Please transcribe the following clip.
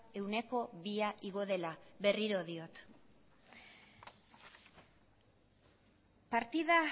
ehuneko bia igo dela berriro diot partida